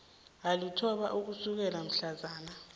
alithoba ukusukela mhlazana